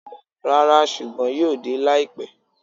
Rara, ṣugbọn yoo de laipẹ.